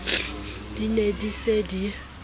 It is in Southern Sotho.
di ne di se di